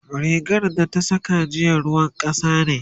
rigan da ta Saka jiya ruwan kasa ne